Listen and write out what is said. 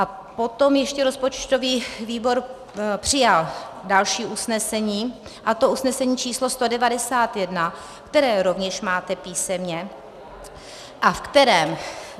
A potom ještě rozpočtový výbor přijal další usnesení, a to usnesení číslo 191, které rovněž máte písemně a v kterém -